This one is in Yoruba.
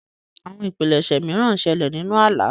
Àwọn ìpilẹṣẹ mìràn ńṣele ninù àlà.